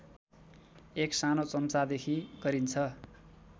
एक सानो चम्चादेखि गरिन्छ